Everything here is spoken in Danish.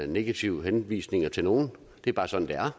negative henvisninger til nogen det er bare sådan det er